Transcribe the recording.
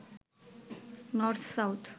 north south